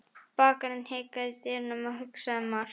Bakarinn hikaði í dyrunum og hugsaði margt.